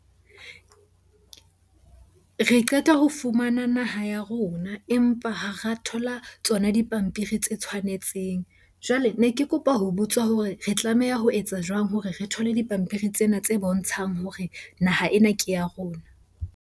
Re qeta ho fumana naha ya rona, empa ha ra thola tsona dipampiri tse tshwanetseng. Jwale ne ke kopa ho botsa hore re tlameha ho etsa jwang hore re thole dipampiri tsena tse bontshang hore naha ena ke ya rona?